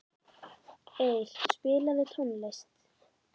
Eir, spilaðu tónlist.